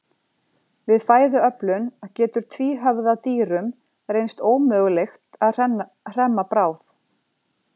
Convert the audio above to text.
Við fæðuöflun getur tvíhöfða dýrum reynst ómögulegt að hremma bráð.